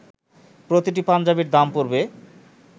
প্রতিটি পাঞ্জাবির দাম পড়বে